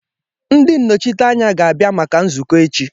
Ndị nnọchiteanya ga-abịa maka nzukọ echi